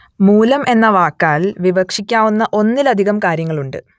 മൂലം എന്ന വാക്കാൽ വിവക്ഷിക്കാവുന്ന ഒന്നിലധികം കാര്യങ്ങളുണ്ട്